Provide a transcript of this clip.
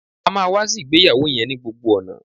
A máa wá sí ìgbéyàwó yẹn ni gbogbo ọ̀nà